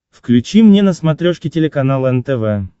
включи мне на смотрешке телеканал нтв